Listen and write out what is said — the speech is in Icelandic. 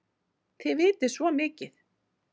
Þið vitið svo mikið!